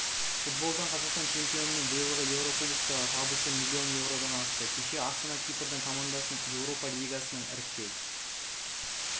футболдан қазақстан чемпионының биылғы еурокубоктағы табысы миллион еуродан асты кеше астана кипрдің командасын еуропа лигасының іріктеу